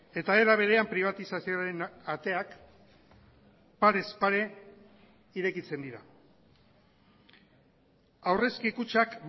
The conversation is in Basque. eta era berean pribatizazioaren ateak parez pare irekitzen dira aurrezki kutxak